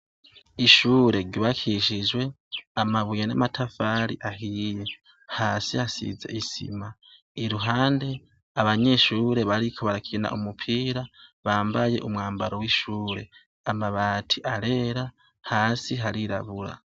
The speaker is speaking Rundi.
Ishure ribakishijwe amabuye n'amatafari ahiye hasi hasize isima iruhande abanyishure bariko barakina umupira bambaye umwambaro w'ishure amabati arera hasi harirabura.